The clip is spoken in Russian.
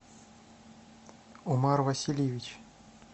омар васильевич